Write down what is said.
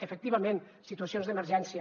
efectivament situacions d’emergència